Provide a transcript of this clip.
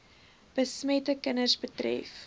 besmette kinders betref